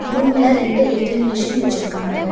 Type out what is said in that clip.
ரூம்ல ரெண்டு A T M machine வச்சுருக்காங்க.